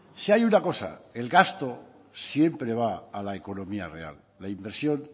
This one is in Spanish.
si hay una cosa el gasto siempre va a la económica real la inversión